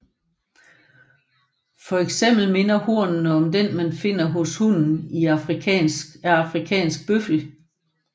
For eksempel minder hornene om dem man finder hos hunnen af afrikansk bøffel